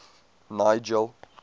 nigel